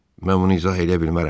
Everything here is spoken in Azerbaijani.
Mən bunu izah eləyə bilmərəm.